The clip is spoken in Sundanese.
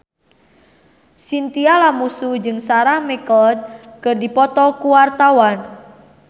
Chintya Lamusu jeung Sarah McLeod keur dipoto ku wartawan